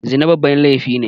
Zina babban laifi ne